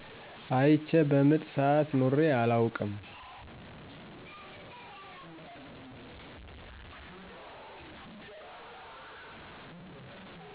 አይቸ በምጥ ስዓት ኑሬ አላውቅም